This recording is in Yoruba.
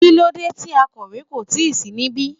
kílódé ti akòwé kò tíì sí níbí